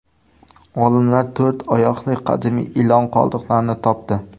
Olimlar to‘rt oyoqli qadimiy ilon qoldiqlarini topdi.